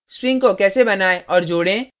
strings को कैसे बनाएँ और जोडें